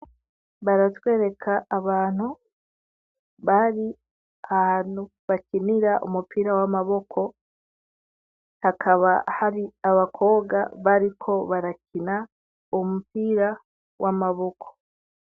Baratwereka abantu bari ahantu bakinira umupira w'amaboko, hakaba hari abakobwa bariko barakina umupira w'amaboko.